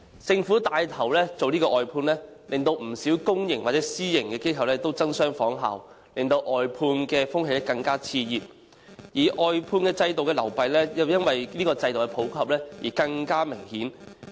政府帶頭外判服務，令不少公私營機構也爭相仿效，致令外判風氣更為熾熱，而外判制度的漏弊亦因這制度的普及更見明顯。